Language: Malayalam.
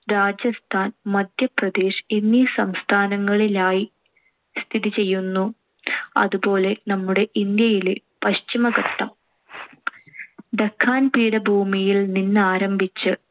രാജസ്ഥാൻ, മദ്ധ്യപ്രദേശ് എന്നീ സംസ്ഥാനങ്ങളിലായി സ്ഥിതിചെയ്യുന്നു. അതുപോലെ നമ്മുടെ ഇന്ത്യയിലെ പശ്ചിമഘട്ടം. ഡെക്കാൻ പീഠഭൂമിയിൽ നിന്നാരംഭിച്ച്